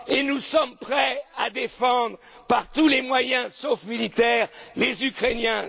pour l'Europe. Nous sommes prêts à défendre par tous les moyens sauf militaires